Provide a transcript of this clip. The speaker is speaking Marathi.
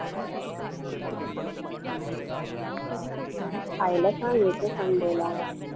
आईला सांग येते sunday ला मस्त